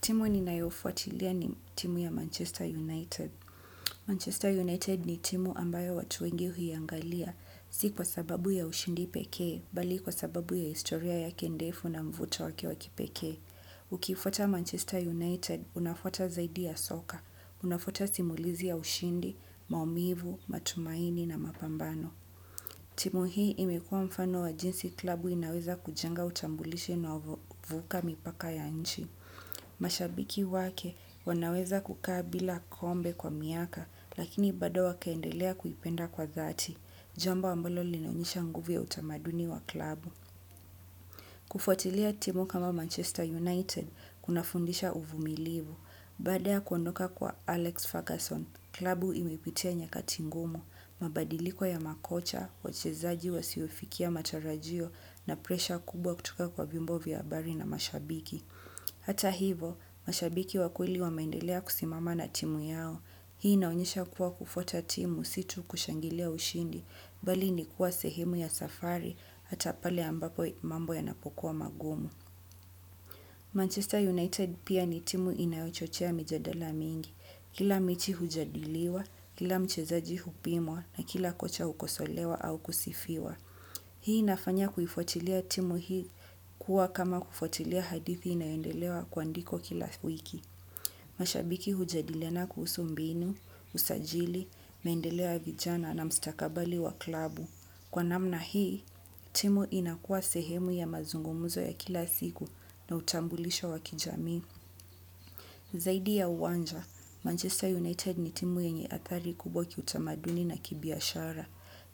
Timu ninayoifuatilia ni timu ya Manchester United. Manchester United ni timu ambayo watu wengi huiangalia, si kwa sababu ya ushindi pekee, bali kwa sababu ya historia yake ndefu na mvuto wake wa kipekee. Ukifuata Manchester United, unafuata zaidi ya soka. Unafuata simulizi ya ushindi, maumivu, matumaini na mapambano. Timu hii imekuwa mfano wa jinsi klabu inaweza kujenga utambulishi unauvuka mipaka ya nchi. Mashabiki wake wanaweza kukaa bila kombe kwa miaka lakini bado wakaendelea kuipenda kwa dhati, jambo ambalo linaonyesha nguvu ya utamaduni wa klabu. Kufutilia timu kama Manchester United kunafundisha uvumilivu. Bada ya kuondoka kwa Alex Ferguson Klabu ilipitia nyakati ngumo. Mabadiliko ya makocha, wachezaji wasiofikia matarajio, na presha kubwa kutuka kwa vyombo vya habari na mashabiki. Hata hivo, mashabiki wa kweli wameendelea kusimama na timu yao. Hii inaonyesha kuwa, kufuata timu si tu kushangilia ushindi, bali ni kuwa sehemu ya safari hata pale ambapo mambo yanapokuwa magumu. Manchester United pia ni timu inayochochea mijadala mingi. Kila mechi hujadiliwa, kila mchezaji hupimwa na kila kocha hukosolewa au kusifiwa. Hii inafanya kuifuatilia timu hii kuwa kama kufuatilia hadithi inayoendelewa kuandikwa kila wiki. Mashabiki hujadiliana kuhusu mbinu, usajili, maendeleo ya vijana na mstakabali wa klabu. Kwa namna hii, timu inakuwa sehemu ya mazungumzo ya kila siku na utambulisho wa kijamii. Zaidi ya uwanja, Manchester United ni timu yenye hatari kubwa kiutamaduni na kibiashara.